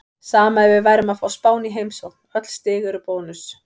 Sama ef við værum að fá Spán í heimsókn, öll stig eru bónus.